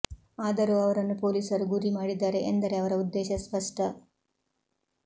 ಆದರೂ ಅವರನ್ನು ಪೊಲೀಸರು ಗುರಿ ಮಾಡಿದ್ದಾರೆ ಎಂದರೆ ಅವರ ಉದ್ದೇಶ ಸ್ಪಷ್ಟ